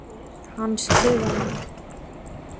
Hann skrifaði: